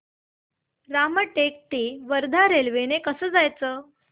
रामटेक ते वर्धा रेल्वे ने कसं जायचं